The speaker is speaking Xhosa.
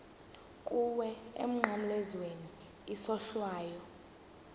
kuwe emnqamlezweni isohlwayo